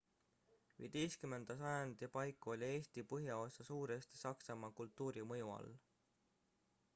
15 sajandi paiku oli eesti põhjaosa suuresti saksamaa kultuuri mõju all